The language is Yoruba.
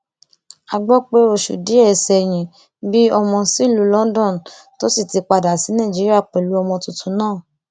a gbọ pé oṣù díẹ sẹyìn bí ọmọ sílùú london tó sì ti padà sí nàìjíríà pẹlú ọmọ tuntun náà